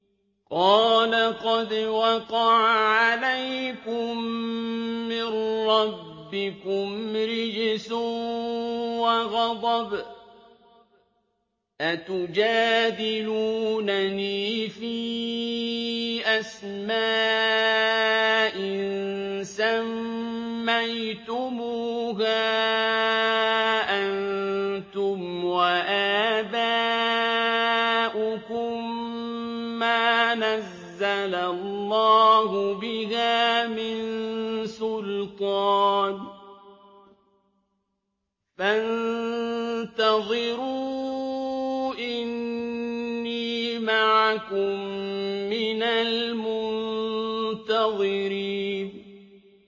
قَالَ قَدْ وَقَعَ عَلَيْكُم مِّن رَّبِّكُمْ رِجْسٌ وَغَضَبٌ ۖ أَتُجَادِلُونَنِي فِي أَسْمَاءٍ سَمَّيْتُمُوهَا أَنتُمْ وَآبَاؤُكُم مَّا نَزَّلَ اللَّهُ بِهَا مِن سُلْطَانٍ ۚ فَانتَظِرُوا إِنِّي مَعَكُم مِّنَ الْمُنتَظِرِينَ